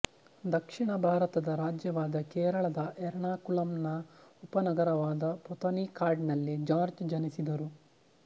ದಕ್ಷಿಣ ಭಾರತದ ರಾಜ್ಯವಾದ ಕೇರಳದ ಎರ್ನಾಕುಲಂನ ಉಪನಗರವಾದ ಪೊಥನಿಕಾಡ್ನಲ್ಲಿ ಜಾರ್ಜ್ ಜನಿಸಿದರು